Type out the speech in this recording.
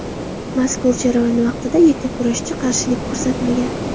Mazkur jarayon vaqtida yakkurashchi qarshilik ko‘rsatmagan.